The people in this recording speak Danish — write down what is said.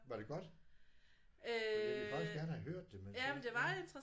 Var det godt? For jeg ville faktisk gerne have hørt det men så ja